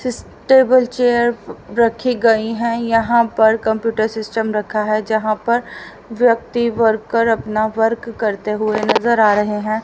जिस table chair रखी गई हैं यहां पर कंप्यूटर सिस्टम रखा है यहां पर व्यक्ति वर्कर अपना वर्क करते हुए नजर आ रहे हैं।